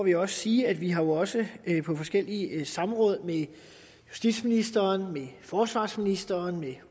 jeg sige at vi jo også på forskellige samråd med justitsministeren forsvarsministeren og